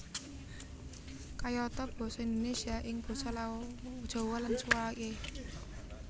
Kayata basa Indonésia ing basa Jawa lan suwalike